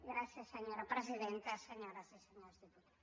gràcies senyora presidenta senyores i senyors diputats